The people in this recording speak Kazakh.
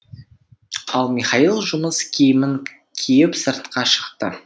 ал михаил жұмыс киімін киіп сыртқа шықты